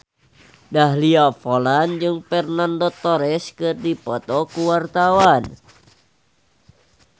Dahlia Poland jeung Fernando Torres keur dipoto ku wartawan